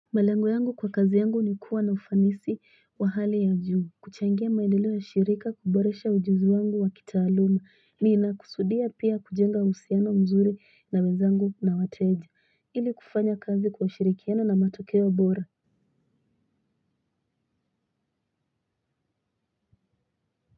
Malengo yangu kwa kazi yangu ni kuwa na ufanisi wa hali ya juu kuchangia maendeleo ya shirika kuboresha ujuzi wangu wa kitaaluma ni inakusudia pia kujenga uhusiano mzuri na wenzangu na wateja ili kufanya kazi kwa ushirikiano na matokeo bora.